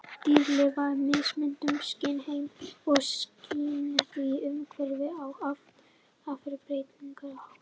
Dýr lifa í mismunandi skynheimi og skynja því umhverfið á afar breytilegan hátt.